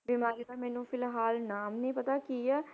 ਬਿਮਾਰੀ ਦਾ ਮੈਨੂੰ ਫਿਲਹਾਲ ਨਾਮ ਨੀ ਪਤਾ ਕੀ ਹੈ,